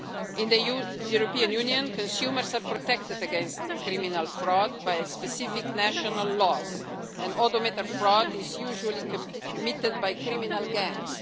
three years. In the European Union, consumers are protected against criminal fraud by specific national laws, and odometer fraud is usually committed by criminal